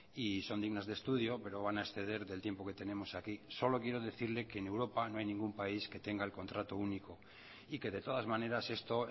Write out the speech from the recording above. y son dignas de estudio pero van a exceder del tiempo que tenemos aquí solo quiero decirle que en europa no hay ningún país que tenga el contrato único y que de todas maneras esto